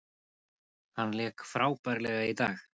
Hann lék frábærlega í dag.